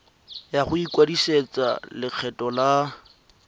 ya go ikwadisetsa lekgetho la